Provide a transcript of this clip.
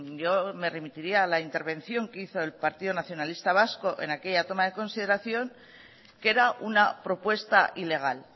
yo me remitiría a la intervención que hizo el partido nacionalista vasco en aquella toma de consideración que era una propuesta ilegal